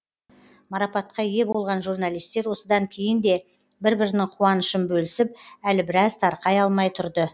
марапатқа ие болған журналистер осыдан кейін де бір бірінің қуанышын бөлісіп әлі біраз тарқай алмай тұрды